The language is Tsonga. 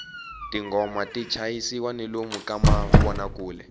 tinghoma ti chayisiwa ni lomu ka mavonakule